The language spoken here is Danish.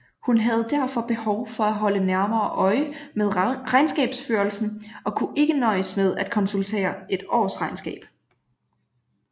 Hun havde derfor behov for at holde nærmere øje med regnskabsførelsen og kunne ikke nøjes med at konsultere et årsregnskab